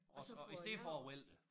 Og og i stedet for at vælte det